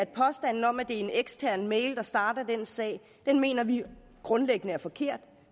påstanden om at det er en ekstern mail der starter den sag den mener vi grundlæggende er forkert